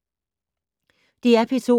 DR P2